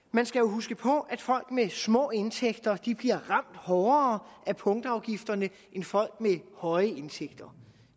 man skal jo huske på at folk med små indtægter bliver ramt hårdere af punktafgifterne end folk med høje indtægter